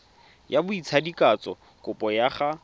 ya botsadikatsho kopo ya go